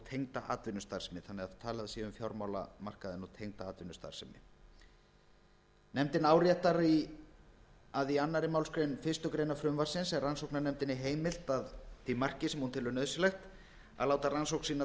tengda atvinnustarfsemi þannig að talað sé um fjármálamarkaðinn og tengda atvinnustarfsemi nefndin áréttar að í annarri málsgrein fyrstu grein frumvarpsins er rannsóknarnefndinni heimilt að því marki sem hún telur nauðsynlegt að láta rannsókn sína